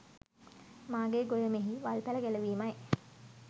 මාගේ ගොයමෙහි වල්පැල ගැලවීමයි.